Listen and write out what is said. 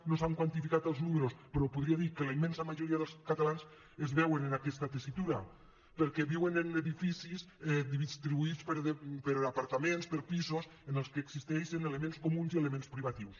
no s’han quantificat els números però podria dir que la immensa majoria dels catalans es veuen en aquesta tessitura perquè viuen en edificis distribuïts per apartaments per pisos en què existeixen elements comuns i elements privatius